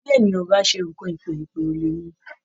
Bí ènìyàn ò bá ṣe nǹkan èpè, èpè ò lè mú-un